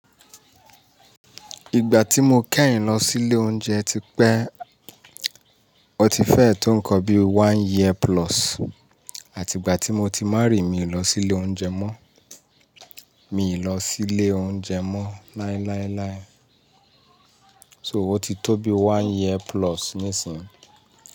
Ìgbà tí mo keyin lọ sí ilé oúnjẹ ti pẹ́, ó ti fẹ́ẹ́ tó nkan bí i one year plus, àti ìgbà tí mo ti marry, mi ò lọ sí ilé oúnjẹ mọ́, mi ò lọ sí ilé oúnjẹ mọ́ láíláíláí. So ó ti tó bí i one year plus nísìnyí.